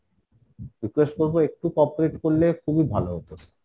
sir request করবো একটু corporate করলে খুবিই ভালো হতো sir ।